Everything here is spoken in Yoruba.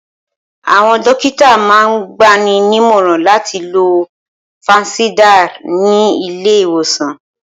Awọn dókítà máa ń gbani nímọ̀ràn láti lo fansidar ni ilé ìwòsàn